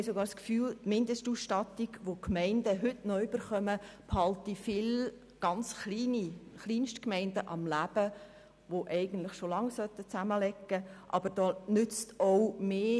Wir haben sogar das Gefühl, dass die Mindestausstattungen, die die Gemeinden heute noch erhalten, viele Kleinstgemeinden am Leben erhalten, die eigentlich schon längst zusammenlegen müssten.